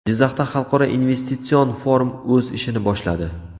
Jizzaxda xalqaro investitsion forum o‘z ishini boshladi.